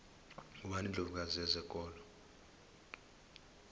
ngubani indlovu kazi yezokolo